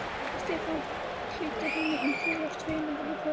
Stefán hlýddi henni umyrðalaust, feginn því að finna griðastað.